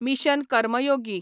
mission Karmayogi